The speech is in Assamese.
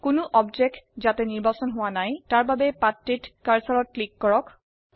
কোনো বস্তু যাতে নিৰ্বাচিত হোৱ নাই তাৰ বাবে পাঠটিত কাৰ্সাৰত ক্লিক কৰক